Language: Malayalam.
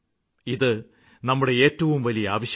ഇത് നമ്മുടെ ഏറ്റവും വലിയ ആവശ്യമാണ്